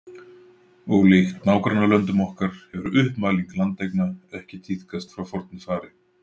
Ólíkt nágrannalöndum okkar hefur uppmæling landeigna ekki tíðkast frá fornu fari.